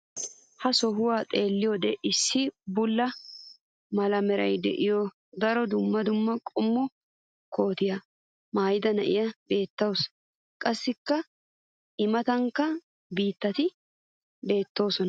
ha sohuwan xeelliyoode issi bulla mala meray de'iyo daro dumma dumma qommo kootiya maayida na'iya beetawusu. qassi i matankka mitatti beetoosona.